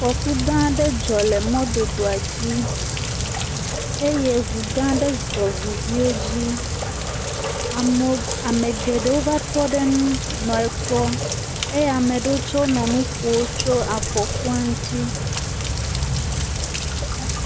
Afɔku gã aɖe dzɔ le mɔdodoa dzi eye ŋu gã aɖe zɔ̃ ŋu viwo dzi. Amewo Ame geɖewo va tɔ ɖe nu nɔ ekpɔ eye ame aɖewo tsɛ nɔ nu ƒom tso afɔkua ntsi.